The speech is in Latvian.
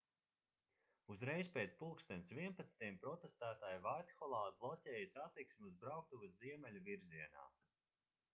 uzreiz pēc plkst 11.00 protestētāji vaitholā bloķēja satiksmi uz brauktuves ziemeļu virzienā